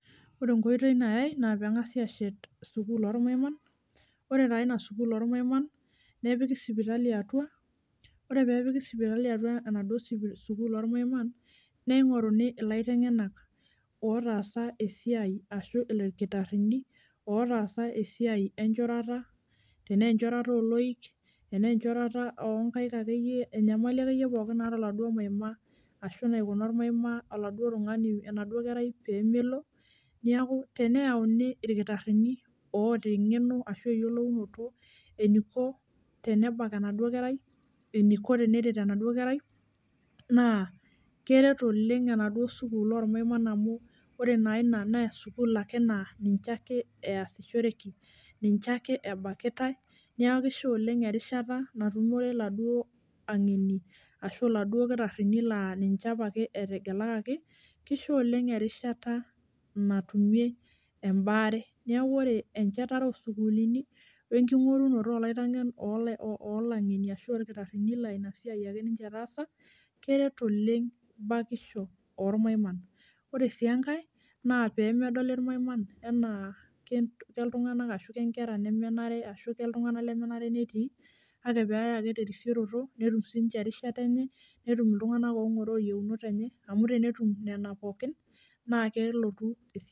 Ore enkoitoi nayae naa pengasi ashet sukuul ormaiman , ore naa ina sukuul ormaina nepiki sipitali atua, ore peepiki sipitali atua enaduo sukuul ormaiman , ningoruni ilaitengenak otaasa esiai ashu irkitarini otaasa enchorata, tenaa enchorata oloik , tenaa enchorata onkaik akeyie, enyamali akeyie pookin naata oladuo maima ashu naikuna ormaima oladuo tungani , enaduo kerai pemelo , niaku teneyauni irkitarini oota engeno ashu eyiolounoto tenebak enaduo kerai , eniko teneret enaduo kerai naa keret oleng enaduo sukuul ormaiman amu ore naa ina naa sukuul ake naa ninche ake easishoreki, ninche ake ebakitae , niaku kisho oleng erishata natumore iladuo angeni ashu iladuo kitarini laa ninche apake etegelakaki , kisho oleng erishata natumie embaare , niaku ore enchetare osukuulini wenkingorunoto olai , olangeni ashu orkitarini laina siai ake ninche etaasa keret oleng bakisho ormaiman . Ore sienkae naa pemedoli irmaiman enaa keltunganak ashu kenkera nemenare ashu keltunganak lemenare netii kake peyay ake terisioroto netum sinche erishata enye, netum iltunganak ongoroo iyieunot enye amu tenetum nena pookin naa kelotu esidano.